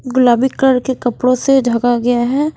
गुलाबी कलर के कपड़ों से ढका गया है।